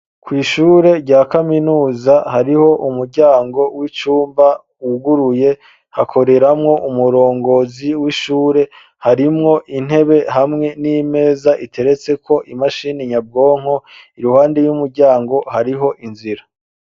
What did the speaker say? Kw'ishure rya kaminuza, hariho umuryango w'icumba, wuguruye, hakoreramwo umurongozi w'ishure; harimwo intebe, hamwe n'imeza, iteretseko imashini nyabwonko; iruhande y'umuryango, hariho inzira.